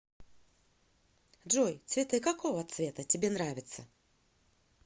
джой цветы какого цвета тебе нравятся